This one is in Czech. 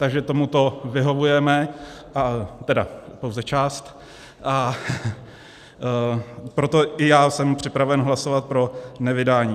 Takže tomuto vyhovujeme - tedy pouze část - a proto i já jsem připraven hlasovat pro nevydání.